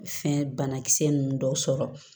Fɛn banakisɛ ninnu dɔw sɔrɔ